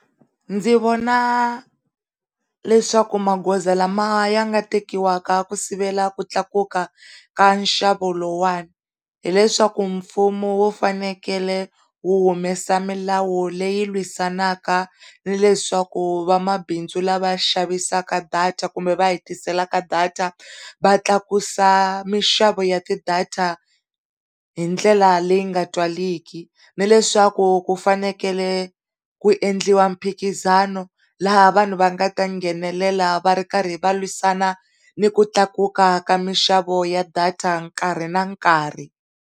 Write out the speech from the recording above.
Ndzi vona leswaku magoza lama ya nga tekiwa ku sivela ku tlakuka ka nxavo lowuwani hileswaku mfumo wu fanekele wu humesa milawu leyi lwisanaka ni leswaku van'wamabindzu lava xavisa data kumbe va hi tisela data va tlakusa mixavo ya ti data hi ndlela leyi nga twariki ni leswaku ku fanele ku endliwa mphikizano laha vanhu va nga ta nghenelela va ri karhi va lwisana ni ku tlakuka ka minxavo ya data nkarhi na nkarhi.